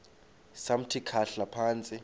samthi khahla phantsi